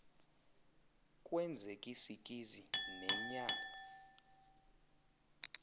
kwenzek isikizi nenyal